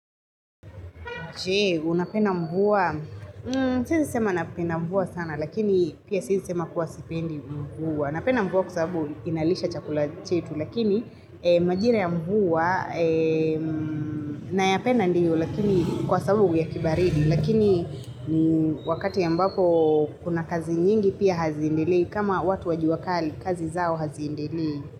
Je, unapenda mvua? Siezi sema napenda mvua sana, lakini pia siezi sema kuwa sipendi mvua. Napenda mvua kwa sababu inalisha chakula chetu, lakini majira ya mvua nayapenda ndiyo, lakini kwa sababu ya kibaridi. Lakini wakati ya ambapo kuna kazi nyingi pia haziendelei, kama watu wa juakali, kazi zao haziendelei.